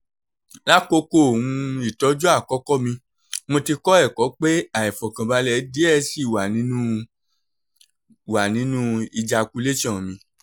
lakoko um itọju akọkọ mi o ti kọ ẹkọ pe aifọkanbalẹ diẹ sii wa ninu wa ninu ejaculation mi